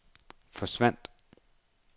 forsvandt